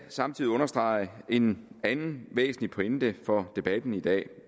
samtidig understrege en anden væsentlig pointe for debatten i dag